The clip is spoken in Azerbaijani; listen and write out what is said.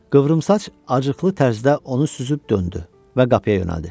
Qıvrımsaç acıqlı tərzdə onu süzüb döndü və qapıya yönəldi.